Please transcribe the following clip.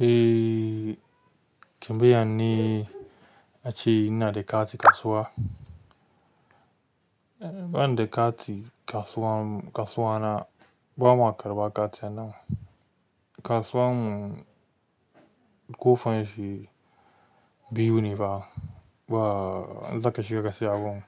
Eh, ki biya ni ace ina da kati kasuwa. Eh, banda kati kasuwa, kasuwa na bama karɓa kati a nan. Kasuwan mu ƙofan shi biyu ne ba, ba zaka shiga ka siya abun,